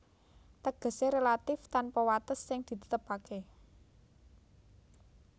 Tegesé relatif tanpa wates sing ditetepaké